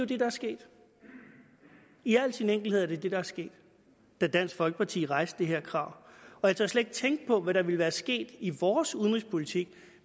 det der er sket i al sin enkelhed var det det der skete da dansk folkeparti rejste det her krav jeg tør slet ikke tænke på hvad der ville være sket i vores udenrigspolitik